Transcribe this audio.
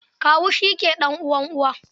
Kawu shi ke ɗan'uwan uwa.